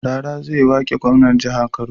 Rara zai wake gwamnan jahar kano